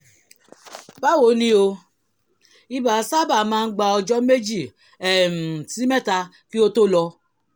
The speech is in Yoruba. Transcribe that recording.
báwo ni o? ibà sábà máa ń gba ọjọ́ méjì um sí mẹ́ta kí ó tó lọ